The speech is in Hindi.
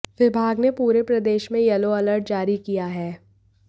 विभाग ने पूरे प्रदेश में येलो अलर्ट जारी किया है